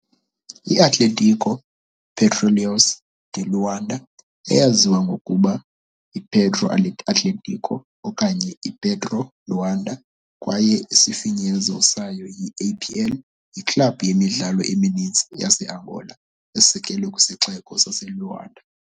I-Atlético Petróleos de Luanda, eyaziwa ngokuba yiPetro Atlético okanye iPetro Luanda kwaye isifinyezo sayo yi-APL, yiklabhu yemidlalo emininzi yaseAngola esekelwe kwisixeko saseLuanda.